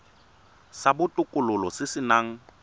sa botokololo se se nang